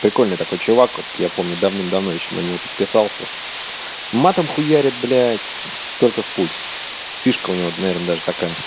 прикольный такой чувак вот я помню давным-давно ещё на него подписался матом хуярит блядь только в путь фишка у него наверное даже такая